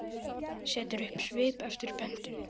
Setur upp svip eftir pöntun.